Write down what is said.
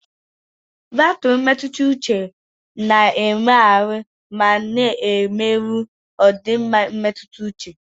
Batrị mmetụta uche na-emegharị ma na-emerụ ọdịmma mmetụta uche.